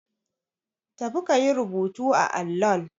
Tafi ka yi rubutu a allon.